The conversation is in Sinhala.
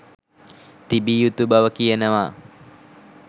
තිබිය යුතු බව කියනවා